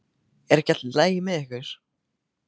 Er ekki allt í lagi með ykkur?